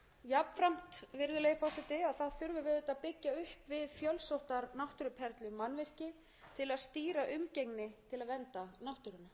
ferðamanna á ýmsum vinsælum ferðamannastöðum þannig þarf að bæta varúðarmerkingar af ýmsum toga og jafnframt